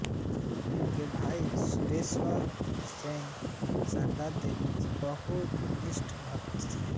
उनके भाई सुरेश्वर सेन शारदा देवी के बहुत निष्ठ भक्त थे